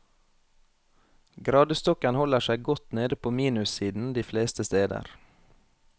Gradestokken holder seg godt nede på minussiden de fleste steder.